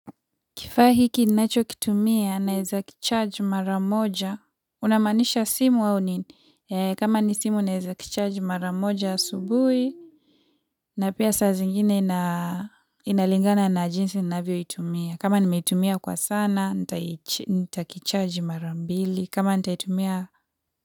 Kifaa hiki nacho kitumia naeza kicharge maramoja. Unamanisha simu au nini, kama ni simu naeza kicharge maramoja asubui. Na pia saa zingine inalingana na jinsi navyo itumia kama nimetumia kwa sana, nitakicharge mara mbili. Kama nitaitumia.